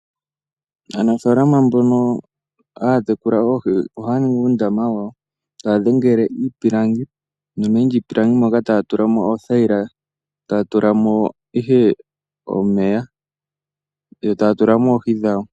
Aanafalama mbono hatekula oohii ohaningi uundama wawo tadhengele iipilangi nomeni lyipilangi moka tatulamo othayila tatulamo ihe omeya yo tatulamo oohii dhawo.